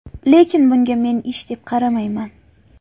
Lekin bunga men ish deb qaramayman.